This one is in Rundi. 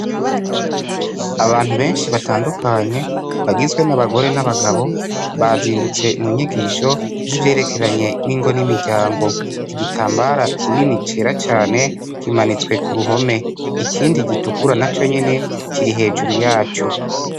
Abantu benshi batandukanye bagizwe nabagore nabagabo bazindutse munyigisho zivyerekeranye ningo nimiryango igitambara kinini cera cane kimanitswe kuruhome ikindi gitukura naconyene kiri hejuru yaco